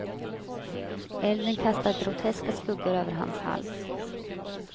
Elden kastade groteska skuggor över hans hals.